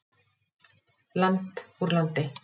Land úr landi.